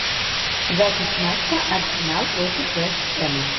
запись матча арсенал против вест хэма